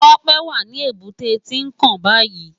Tope wá ni ébùté Tinkán bàyí